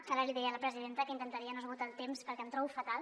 ara li deia a la presidenta que intentaria no esgotar el temps perquè em trobo fatal